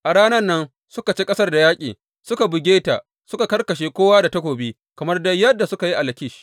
A ranan nan suka ci ƙasar da yaƙi, suka buge ta, suka karkashe kowa da takobi kamar dai yadda suka yi a Lakish.